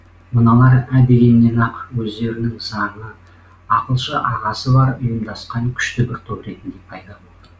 мыналар ә дегеннен ақ өздерінің заңы ақылшы ағасы бар ұйымдасқан күшті бір топ ретінде пайда болды